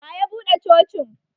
Wa ya buɗe Cocin?